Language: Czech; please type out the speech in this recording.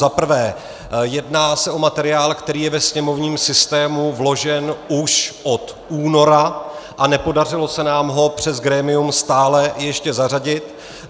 Za prvé, jedná se o materiál, který je ve sněmovním systému vložen už od února, a nepodařilo se nám ho přes grémium stále ještě zařadit.